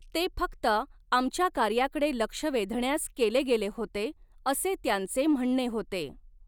ते फक्त आमच्या कार्याकडे ल़क्ष वेधण्यास केले गेले होते असे त्यांचे म्हणणे होते.